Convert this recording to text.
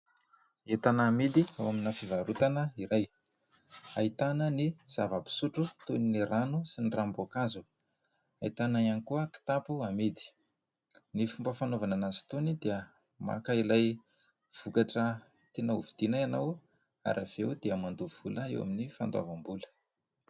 Entana amidy ao amina fivarotana iray ahitana ny zava-pisotro toy ny rano sy ny ranom-boankazo. Ahitana ihany koa kitapo amidy. Ny fomba fanaovana azy itony dia maka ilay vokatra tiana hovidiana ianao ary avy eo dia mandoha vola eo amin'ny fandoavam-bola.